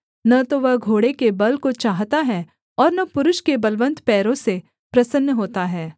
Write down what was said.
न तो वह घोड़े के बल को चाहता है और न पुरुष के बलवन्त पैरों से प्रसन्न होता है